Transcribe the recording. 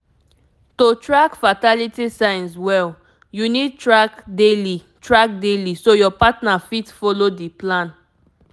to track fertility signs well you need track daily track daily so your partner fit follow the plan